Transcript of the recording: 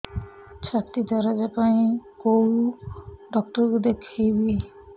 ଛାତି ଦରଜ ପାଇଁ କୋଉ ଡକ୍ଟର କୁ ଦେଖେଇବି